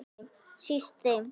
Síst þeim.